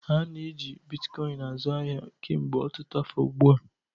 A na-eji Bitkoịn azụ ahịa kemgbe ọtụtụ afọ ugbu a.